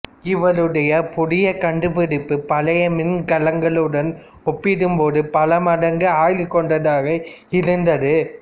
இவருடைய புதிய கண்டுபிடிப்பு பழைய மின்கலங்களோடு ஒப்பிடும் போது பல மடங்கு ஆயுள் கொண்டதாக இருந்தது